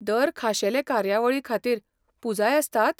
दर खाशेले कार्यावळीखातीर, पुजाय आसतात?